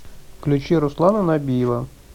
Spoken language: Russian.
включи руслана набиева